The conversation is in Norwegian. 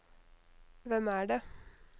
hvem er det